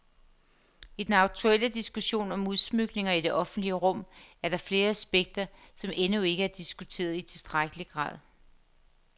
I den aktuelle diskussion om udsmykninger i det offentlige rum er der flere aspekter, som endnu ikke er diskuteret i tilstrækkelig grad.